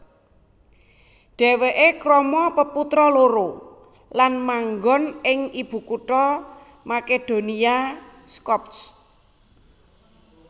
Dhèwèké krama peputra loro lan manggon ing ibukutha Makedonia Skopje